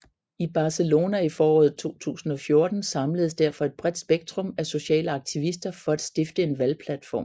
I Barcelona i foråret 2014 samledes derfor et bredt spektrum af sociale aktivister for at stifte en valgplatform